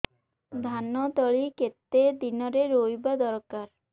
ଧାନ ତଳି କେତେ ଦିନରେ ରୋଈବା ଦରକାର